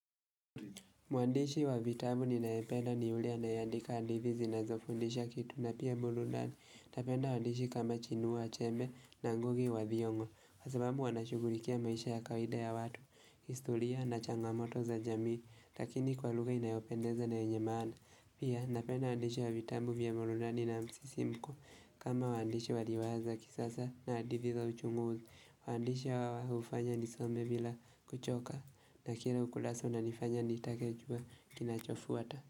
Mwandishi wa vitabu ninayependa ni yule anayeandika hadithi zinazofundisha kitu na pia burudani. Tapenda waandishi kama chinua achebe na ngugi wa thiongo. kWa sababu wanashugulikia maisha ya kawaida ya watu, historia na changamoto za jamii, lakini kwa lugha inayopendeza na yenye maana. Pia, napenda waandishi wa vitabu vya burudani na msisimko kama waandishi wadiwaza kisasa na hadithi za uchunguzi. Waandishi hawa hufanya nisome bila kuchoka na kila ukurasa unanifanya nitakejua kinachofuata.